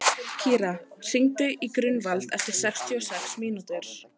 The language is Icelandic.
Kíra, hringdu í Gunnvald eftir sextíu og sex mínútur.